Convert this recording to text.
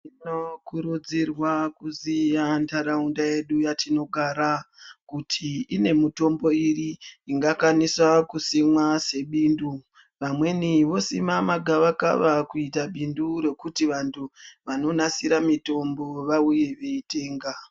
Tinokurudzirwa kuziya nharaunda yedu yatinogara kuti ine mitombo iri ingakwanisa kusimwa sebindu vanweni vosima magavakava kuita bindu rekuti vantu vanonasire mitombo vauye veitenga.